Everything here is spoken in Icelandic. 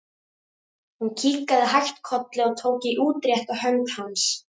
Hún kinkaði hægt kolli og tók í útrétta hönd hans.